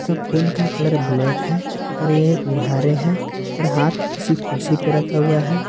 Phone का colour black है और ये उघारे है और हाथ किसी कुर्सी पे रखा हुआ है।